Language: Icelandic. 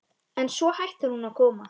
En svo hættir hún að koma.